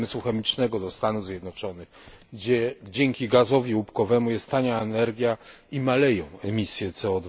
przemysłu chemicznego do Stanów Zjednoczonych, gdzie dzięki gazowi łupkowemu jest tania energia i maleją emisje CO